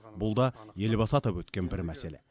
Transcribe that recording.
бұл да елбасы атап өткен бір мәселе